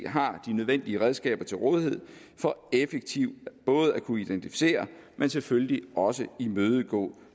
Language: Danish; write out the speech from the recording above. har de nødvendige redskaber til rådighed for effektivt både at kunne identificere og selvfølgelig også imødegå